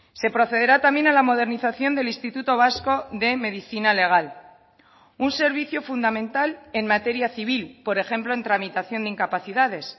se procederá también a la modernización del instituto vasco de medicina legal un servicio fundamental en materia civil por ejemplo en tramitación de incapacidades